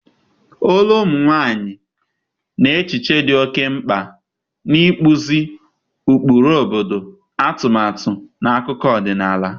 olu ụmụ nwanyị na echiche dị oke mkpa n'ịkpụzi ụkpụrụ obodo, atumatu na akụkọ ọdịnala.